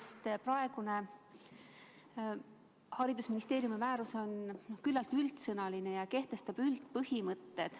Sest praegune haridusministeeriumi määrus on küllalt üldsõnaline ja kehtestab üldpõhimõtted.